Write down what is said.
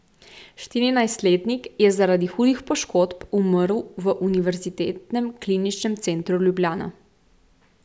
Štirinajstletnik je zaradi hudih poškodb umrl v Univerzitetnem kliničnem centru Ljubljana.